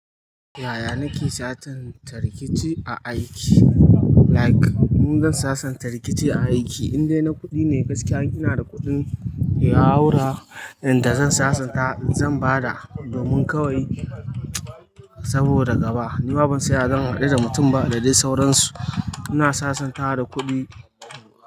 Yaya nake sasanta rikici a aiki? Like in zan sasanta rikici a aiki in dai na kuɗi ne gaskiya ina da kuɗin ya haura inda zan sasanta zan bada domin kawai saboda gaba. Ni ma ban saya zan haɗu da mutum ba da dai sauransu. Ina sasanta da kuɗi.